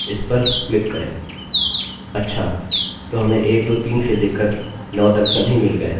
स्पष्ट रूप से हमारी कंडीशन पूरी हुई है हमारा नामname billy में बदल गया है हमारा नामname एलेक्सalex के बराबर नहीं रहा